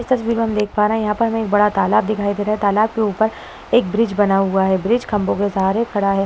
इस तस्वीर में हम देख पा रहा हैं। यहाँ पर हमें एक बड़ा तालाब दिखाई दे रहा है। तालाब के ऊपर एक ब्रिज बना हुआ है। ब्रिज खंबो के सहारे खड़ा है।